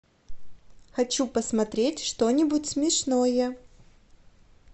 хочу посмотреть что нибудь смешное